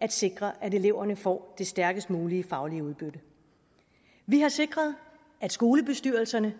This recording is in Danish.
at sikre at eleverne får det stærkest mulige faglige udbytte vi har sikret at skolebestyrelserne